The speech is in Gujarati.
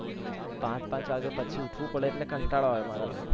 પાંચ પાંચ વાગ્યે પછી ઉઠવું પડે એટલે કંટાળો આવે મારા ભાઈ.